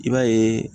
I b'a yeee